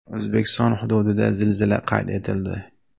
O‘zbekiston hududida zilzila qayd etildi.